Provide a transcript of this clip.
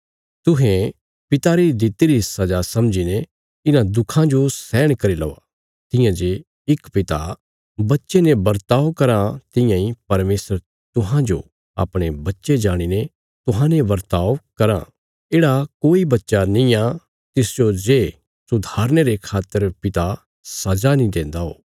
तुहें पिता री दित्तिरी सजा समझीने इन्हां दुखां जो सहन करी लौआ तियां जे इक पिता बच्चे ने बर्ताव कराँ तियां इ परमेशर तुहांजो अपणे बच्चे जाणीने तुहांजो बर्ताव कराँ येढ़ा कोई बच्चा नींआ तिसजो जे सुधारने रे खातर पिता सजा नीं देन्दा ओ